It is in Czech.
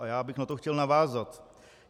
A já bych na to chtěl navázat.